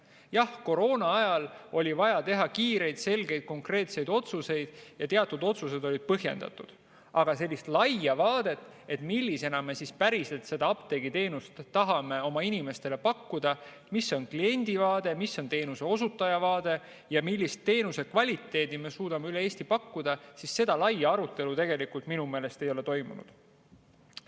Jah, koroonaajal oli vaja teha kiireid, selgeid, konkreetseid otsuseid ja teatud otsused olid põhjendatud, aga sellist laia vaadet, millisena me päriselt seda apteegiteenust tahame oma inimestele pakkuda, mis on see kliendivaade, mis on teenuseosutaja vaade ja millist teenuse kvaliteeti me suudame üle Eesti pakkuda, seda laia arutelu minu meelest ei ole toimunud.